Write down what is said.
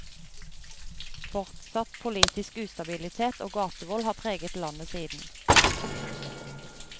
Fortsatt politisk ustabilitet og gatevold har preget landet siden.